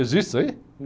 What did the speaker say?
Existe isso aí?